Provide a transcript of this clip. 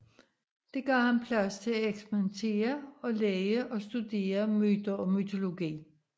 Det gav ham plads til et eksperimentere og lege og studere myter og mytologi